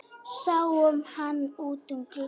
Sáum hann út um glugga.